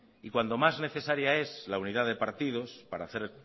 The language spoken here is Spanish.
cuando más necesaria es la unidad de partidos para hacer